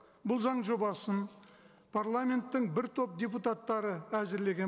бұл заң жобасын парламенттің бір топ депутаттары әзірлеген